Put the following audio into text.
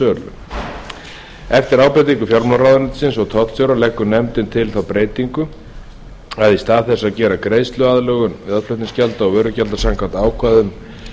innanlandssölu eftir ábendingu fjármálaráðuneytis og tollstjóra leggur nefndin til þá breytingu að í stað þess að gera greiðsluaðlögun aðflutningsgjalda og vörugjalda samkvæmt ákvæðum